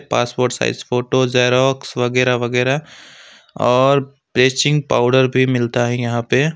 passport size photo xerox वगैरह वगैरह और ब्लीचिंग पाउडर भी मिलता है यहां पे--